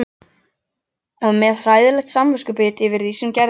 Og með hræðilegt samviskubit yfir því sem gerðist.